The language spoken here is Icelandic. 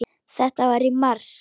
Þetta var í mars.